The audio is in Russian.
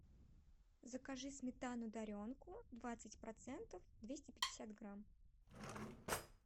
закажи сметану даренку двадцать процентов двести пятьдесят грамм